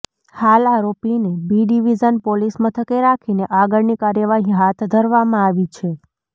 હાલ આરોપીને B division police મથકે રાખીને આગળની કાર્યવાહી હાથ ધરવામાં આવી છે